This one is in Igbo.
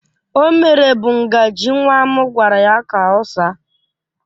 O mere bụ ngaji nwa m gwara ya ka ọ saa